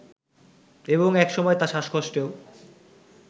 এবং একসময় তা শ্বাসকষ্টেও